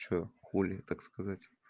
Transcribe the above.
что хули так сказать